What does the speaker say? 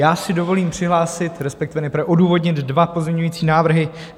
Já si dovolím přihlásit, respektive nejprve odůvodnit dva pozměňovací návrhy.